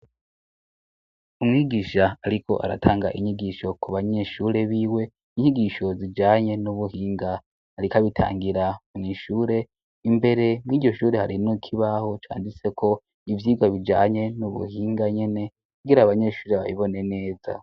umwigisha ariko aratanga inyigisho ku banyeshure biwe inyigisho zijanye n'ubuhinga ariko abitangira mwishure imbere mw'iryoshure harimwo ikibaho canditseko ivyigwa bijanye n'ubuhinga nyene kugira abanyeshure babibone neza